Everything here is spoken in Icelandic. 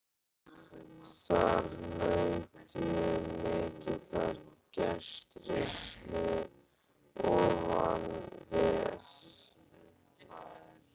Þar naut ég mikillar gestrisni og vann vel.